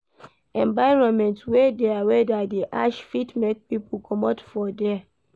Environment wey their weather de ash fit make pipo comot for there